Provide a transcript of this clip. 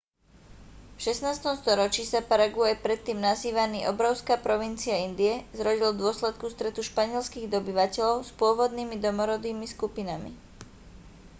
v 16. storočí sa paraguaj predtým nazývaný obrovská provincia indie zrodil v dôsledku stretu španielskych dobyvateľov s pôvodnými domorodými skupinami